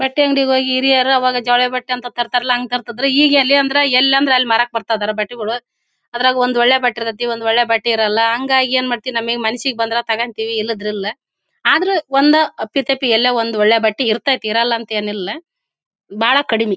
ಬಟ್ಟೆ ಅಂಗಡಿ ಹೋಗಿ ಹಿರಿಯರು ಆವಾಗ ಜೊಳೆ ಬಟ್ಟೆ ಅಂತ ತರತಾರಲ್ಲಾ ಹಂಗ್ ತರತ್ತಿದ್ರು ಈಗ ಎಲ್ಲಿ ಅಂದ್ರೆ ಎಲ್ಲೇ ಅಂದ್ರೆ ಮಾರಕಬತ್ತಿದರೆ ಬಟ್ಟೆಗಳು ಅದ್ರಗ ಒಂದ್ ಒಳ್ಳೆ ಬಟ್ಟೆಇರತತ್ತಿ ಒಂದ್ ಒಳ್ಳೆ ಬಟ್ಟೆಇರಲ್ಲಾ ಹಂಗಾಗಿ ಏನ್ ಮಾಡತ್ತಿವಿ ನಂಮ್ಗೆ ಮನಸಿಗೆ ಬಂದಿರೋ ತಕೊಂತ್ತಿವಿ ಇಲ್ಲದ್ರಿಲ್ಲಾ ಆದ್ರ ಒಂದ್ ಅಪ್ಪಿ ತಪ್ಪಿ ಎಲೋ ಒಂದು ಒಳ್ಳೆ ಬಟ್ಟೆಇರ್ತ್ಯತ್ತಿ ಇರಲ್ಲಾ ಏನಿಲ್ಲಾ ಬಹಳ್ ಕಡಿಮೆ.